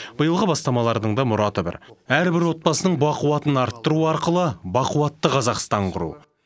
биылғы бастамалардың да мұраты бір әрбір отбасының бақуатын арттыру арқылы бақуатты қазақстан құру